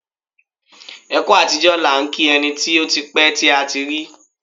Ẹ kú àtijọ́ làá ń kí ẹni tí ó ti pẹ́ tí a ti rí.